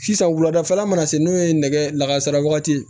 Sisan wuladafɛla mana se n'o ye nɛgɛ lakasara wagati